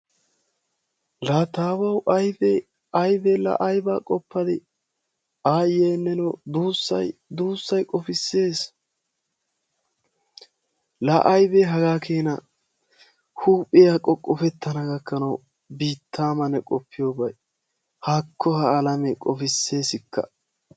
Laa taawawu ayibe ayibe la ayibaa qoppadii aayyee nenoo duussayi duussayi qofisses laa ayibee hagaa keena huuphiya qoqqofettana gakkanwu biittaa ma ne qoppiyyobayi haakko ha alamee qofisseesikka